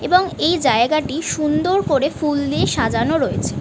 এবং এই জায়গাটি সুন্দর করে ফুল দিয়ে সাজানো রয়েছে ।